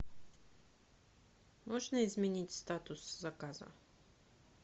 можно изменить статус заказа